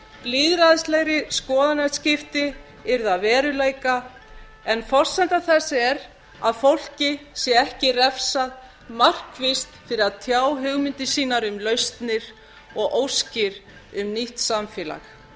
lýðræðislegri skoðanaskipti eru að veruleika en forsenda þess er að fólki sé ekki refsað markvisst fyrir að tjá hugmyndir sínar um lausnir og óskir um nýtt samfélag